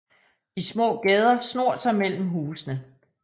De små gader snor sig mellem husene